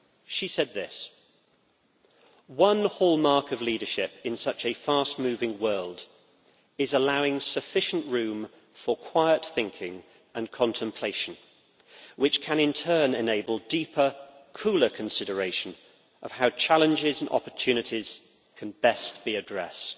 She said this One hallmark of leadership in such a fast moving world is allowing sufficient room for quiet thinking and contemplation, which can in turn enable deeper, cooler consideration of how challenges and opportunities can best be addressed'.